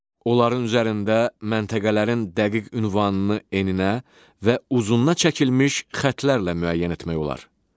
Onların üzərində məntəqələrin dəqiq ünvanını eninə və uzununa çəkilmiş xətlərlə müəyyən etmək olar.